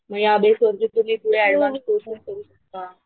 म या बेस वरती तुम्ही पुढं ऍडव्हान्स कोर्स करू शकता.